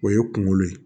O ye kunkolo ye